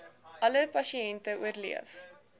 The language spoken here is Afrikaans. alle pasiënte oorleef